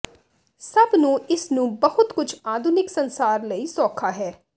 ਸਭ ਨੂੰ ਇਸ ਨੂੰ ਬਹੁਤ ਕੁਝ ਆਧੁਨਿਕ ਸੰਸਾਰ ਲਈ ਸੌਖਾ ਹੈ